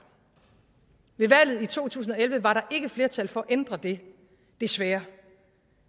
ved valget i to tusind og elleve var der ikke flertal for at ændre det desværre